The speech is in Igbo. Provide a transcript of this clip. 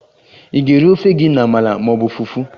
Ị ga-eri ofe gị na amala ma ọ bụ fufu?